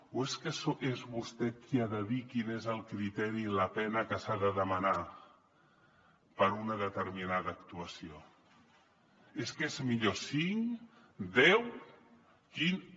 o és que és vostè qui ha de dir quin és el criteri i la pena que s’ha de demanar per una determinada actuació és que és millor cinc deu quinze